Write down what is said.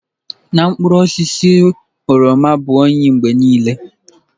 N'okpuru osisi oroma bụ oyi mgbe niile.